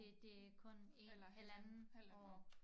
Det det kun 1 halvanden år